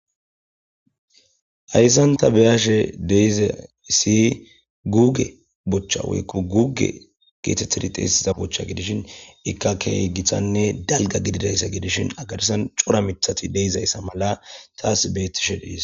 Hayssanta beyaashe deiza isi guge bochcha woykko guge geetettidi xeesiza bocha gidishin ikkake githanne dalga gididayssa gidishin agarisan cora mithati deizayssa mala taas beettishe dhis